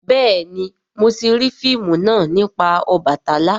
béèni mọ ti rii fíìmù náa nipa Obàtálá.